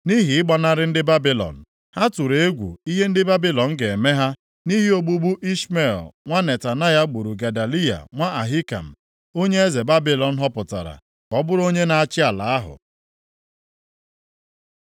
nʼihi ịgbanarị ndị Babilọn. Ha tụrụ egwu ihe ndị Babilọn ga-eme ha nʼihi ogbugbu Ishmel nwa Netanaya gburu Gedaliya nwa Ahikam, onye eze Babilọn họpụtara ka ọ bụrụ onye na-achị ala ahụ.